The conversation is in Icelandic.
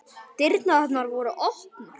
Dyrnar voru opnar.